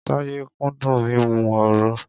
Táyé kúndùn mímu òro.